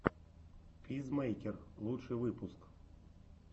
пизмэйкер лучший выпуск